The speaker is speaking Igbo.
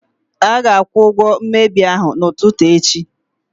A ga-akwụ ụgwọ mmebi ahụ n'ụtụtụ echi.